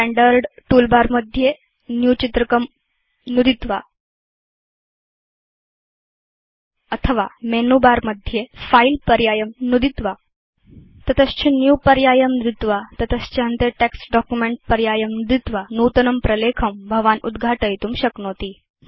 standard toolbar मध्ये new चित्रकं नुदित्वा अथवा मेनु बर मध्ये फिले पर्यायं नुदित्वा तत च Newपर्यायं नुदित्वा ततश्च अन्ते टेक्स्ट् डॉक्युमेंट पर्यायं नुदित्वा नूतनं प्रलेखं भवान् उद्घाटयितुं शक्नोति